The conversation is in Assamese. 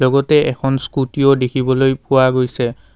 লগতে এখন স্কুটিও দেখিবলৈ পোৱা গৈছে।